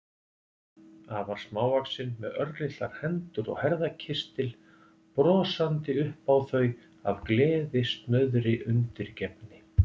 Afar smávaxin, með örlitlar hendur og herðakistil, brosandi upp á þau af gleðisnauðri undirgefni.